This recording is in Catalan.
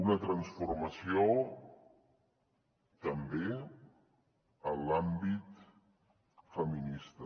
una transformació també en l’àmbit feminista